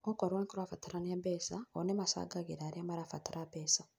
OKorwo nĩkũrabatarania mbeca o nĩmacangagĩra arĩa marabatara mbeca